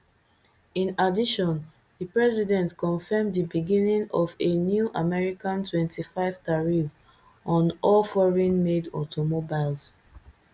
in addition di president confirm di beginning of a new american twenty-five tariff on all foreign madeautomobiles